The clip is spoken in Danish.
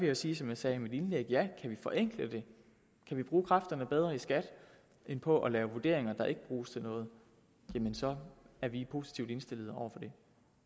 jeg sige som jeg sagde i mit indlæg ja kan vi forenkle det kan vi bruge kræfterne bedre i skat end på at lave vurderinger der ikke bruges til noget jamen så er vi positivt indstillet over for det